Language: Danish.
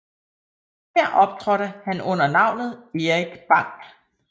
Her optrådte han under navnet Erik Bang